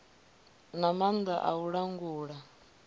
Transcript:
na maanḓa a u langula